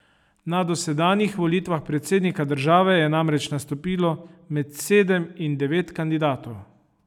Na dosedanjih volitvah predsednika države je namreč nastopilo med sedem in devet kandidatov.